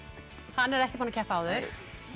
hann er ekki búinn að keppa áður